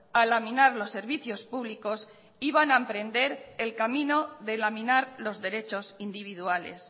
a laminar los servicios públicos iban a emprender el camino de laminar los derechos individuales